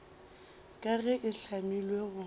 ka ge e hlamilwe go